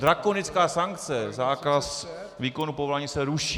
Drakonická sankce - zákaz výkonu povolání se ruší.